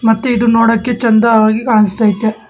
ಮತ್ತು ಇದು ನೋಡಕ್ಕೆ ಚಂದವಾಗಿ ಕಾಣಿಸ್ತೈತೆ.